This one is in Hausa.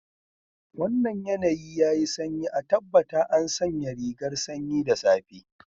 Wannan yanayi yayi sanyi, a tabbata an sanya rigar sanyi da safa.